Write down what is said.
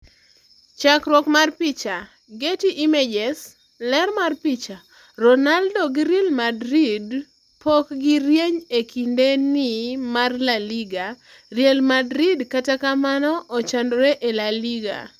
Chakruok mar picha, Getty Images. Ler mar picha, Ronaldo gi Real Madrid pokgi rieny e kinde ni mar La Liga. Real Madrid kata kamano ochandore e La Liga.